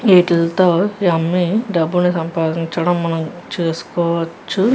వీటితో ఇవి అమ్మి డబ్బులు సంపాదించుకోవటం మనం చూసుకోవచ్చు.